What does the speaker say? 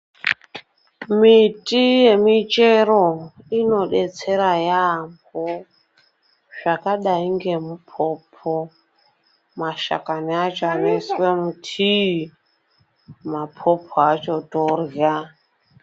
Miti yemichero inodetsera yambo zvakadai ngemupopo mashakani acho anoiswe mutii mapopo acho torya.